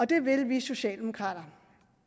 det vil vi socialdemokrater